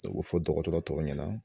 O be fɔ dɔgɔtɔrɔ tɔw ɲɛna